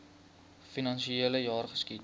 finansiele jaar geskied